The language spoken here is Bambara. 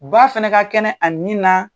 Ba fana ka kɛnɛ a nin na.